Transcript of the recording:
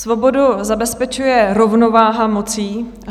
Svobodu zabezpečuje rovnováha moci.